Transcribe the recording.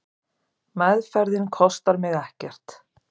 Meðferðin kostar mig ekkert.